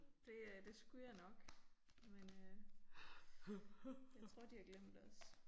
Det øh det skulle jeg nok men øh jeg tror de har glemt os